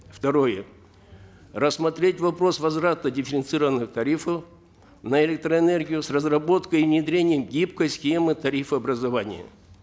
второе рассмотреть вопрос возврата дифференцированных тарифов на электроэнергию с разработкой и внедрением гибкой схемы тарифообразования